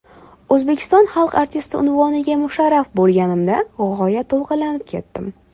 O‘zbekiston xalq artisti unvoniga musharraf bo‘lganimda g‘oyat to‘lqinlanib ketdim.